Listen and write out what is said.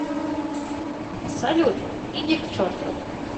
салют иди к черту